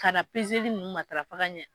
Ka na nunnu matafa ka ɲɛ.